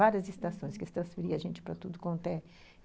Várias estações que transferiam a gente para tudo quanto é